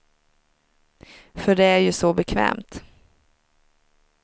För det är ju så bekvämt.